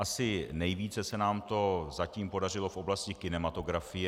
Asi nejvíce se nám to zatím podařilo v oblasti kinematografie.